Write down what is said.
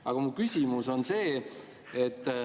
Aga mu küsimus on see.